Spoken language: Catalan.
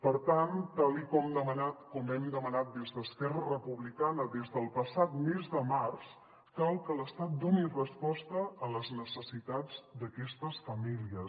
per tant tal com hem demanat des d’esquerra republicana des del passat mes de març cal que l’estat doni resposta a les necessitats d’aquestes famílies